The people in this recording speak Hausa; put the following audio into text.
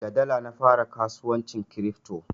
Da dala na fara kasuwancin kiripto.